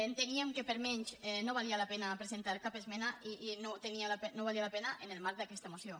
enteníem que per menys no valia la pena presentar cap esmena i que no valia la pena en el marc d’aquesta moció